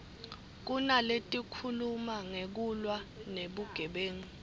kunaletikhuluma ngekulwa nebugebengu